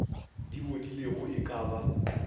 di bodilego e ka ba